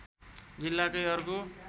जिल्लाकै अर्को